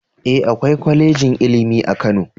E, akwai kwalejin ilimi a Kano